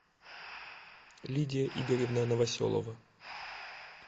лидия игоревна новоселова